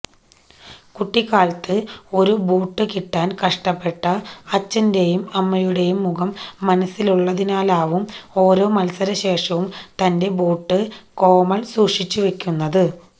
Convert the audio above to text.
കുട്ടിക്കാലത്ത് ഒരു ബൂട്ടു കിട്ടാന് കഷ്ടപ്പെട്ട അച്ഛന്റേയും അമ്മയുടേയും മുഖം മനസ്സിലുള്ളതിനാലാവും ഓരോ മത്സരശേഷവും തന്റെ ബൂട്ട് കോമള് സൂക്ഷിച്ചുവെക്കുന്നത്